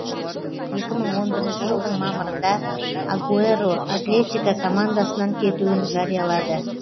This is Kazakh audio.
екі мың он бірінші жылдың мамырында агуэро атлетико командасынан кетуін жариялады